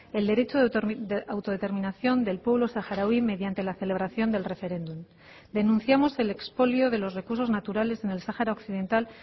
el derecho de autodeterminación del pueblo saharaui mediante la celebración del referéndum denunciamos el expolio de los recursos naturales en el sahara occidental